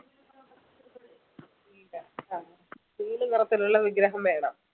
നീല ആഹ് നീല നിറത്തിലുള്ള വിഗ്രഹം വേണം അഹ് അഹ് അത്